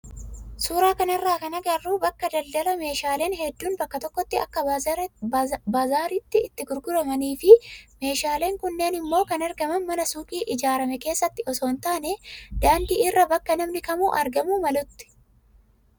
Suuraa kanarraa kan agarru bakka daldalaameeshaaleen hedduun bakka tokkotti akka baazaariittii itti gurguramanii fi meeshaaleen kunneen immoo kan argaman mana suuqii ijaarame keessatti osoo hin taane daandii irra bakka namni kamuu arguu malutti.